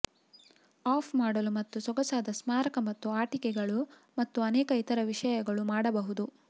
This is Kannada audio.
ಆಫ್ ಮಾಡಲು ಮತ್ತು ಸೊಗಸಾದ ಸ್ಮಾರಕ ಮತ್ತು ಆಟಿಕೆಗಳು ಮತ್ತು ಅನೇಕ ಇತರ ವಿಷಯಗಳು ಮಾಡಬಹುದು